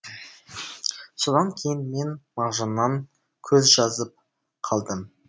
содан кейін мен мағжаннан көз жазып қалдым